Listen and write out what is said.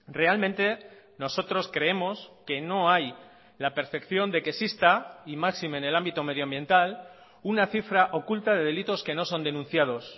realmente nosotros creemos que no hay la percepción de que exista y máxime en el ámbito medioambiental una cifra oculta de delitos que no son denunciados